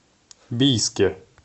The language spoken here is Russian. бийске